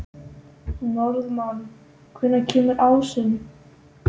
Norðmann, hvenær kemur ásinn?